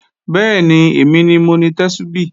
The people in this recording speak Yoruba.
Bẹ́ẹ̀ni, èmi ni mo ni Tẹ́súbí